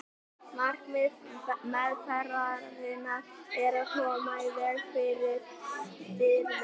markmið meðferðarinnar er að koma í veg fyrir stirðnun